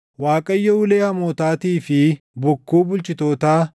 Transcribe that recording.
Waaqayyo ulee hamootaatii fi bokkuu bulchitootaa,